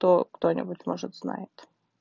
то кто-нибудь может знает